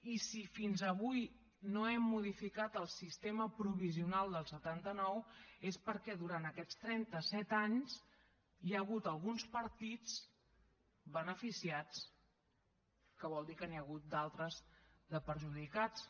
i si fins avui no hem modificat el sistema provisional del setanta nou és perquè durant aquests trenta set anys hi ha hagut alguns partits beneficiats que vol dir que n’hi ha hagut d’altres de perjudicats